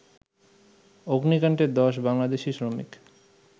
অগ্নিকাণ্ডে ১০ বাংলাদেশি শ্রমিক